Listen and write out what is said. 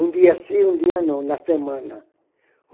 Um dia sim, um dia não, na semana.